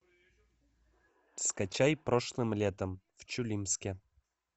скачай прошлым летом в чулимске